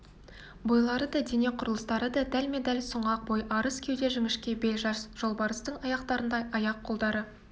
бойлары да дене құрылыстары да дәлме-дәл сұңғақ бой арыс кеуде жіңішке бел жас жолбарыстың аяқтарындай аяқ-қолдары